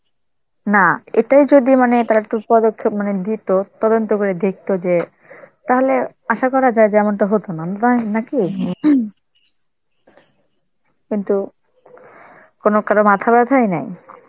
না এটাই যদি মানে তারা মানে দিত, তদন্ত করে দেখত যে তাহলে আশা করা যায় যে এমনটা হতো না, নাকি? . কিন্তু কোনো কারো মাথাব্যথায় নাই.